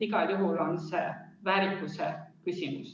Igal juhul on see väärikuse küsimus.